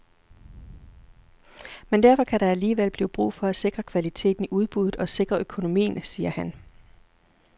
Men derfor kan der alligevel blive brug for at sikre kvaliteten i udbuddet og sikre økonomien, siger han.